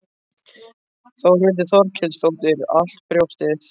Þórhildur Þorkelsdóttir: Allt brjóstið?